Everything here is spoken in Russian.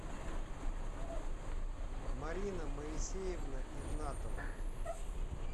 марина моисеевна игнатова